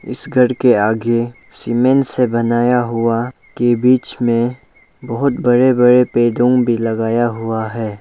इस घर के आगे सीमेंट से बनाया हुआ के बीच में बहोत बड़े बड़े बैलून भी लगाया हुआ है।